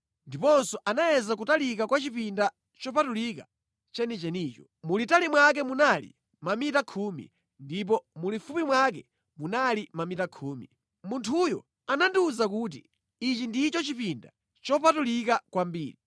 Ndiponso anayeza kutalika kwa chipinda chopatulika chenichenicho. Mulitali mwake munali mamita khumi, ndipo mulifupi mwake munali mamita khumi. Munthuyo anandiwuza kuti, “Ichi ndicho chipinda chopatulika kwambiri.”